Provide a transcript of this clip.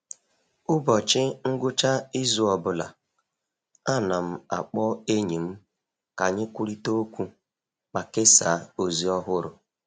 Ụbọchị ngwụcha izu ọ bụla, ana m akpọ enyi m ka anyị kwurịta okwu ma kesaa ozi ọhụrụ.